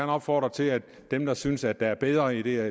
opfordre til at dem der synes at der er bedre ideer